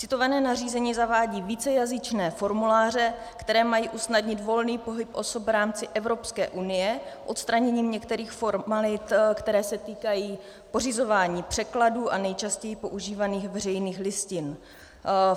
Citované nařízení zavádí vícejazyčné formuláře, které mají usnadnit volný pohyb osob v rámci Evropské unie odstraněním některých formalit, které se týkají pořizování překladů a nejčastěji používaných veřejných listin.